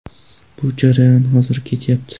Bu jarayon hozir ketyapti.